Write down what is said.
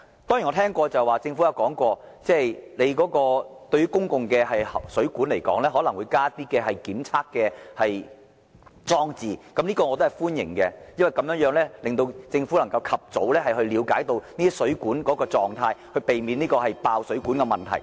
當然，我知道政府已曾表示會在公共水管加上檢測裝置，我歡迎這項措施，因為這樣能令政府及早了解水管的狀態，避免出現爆水管的問題。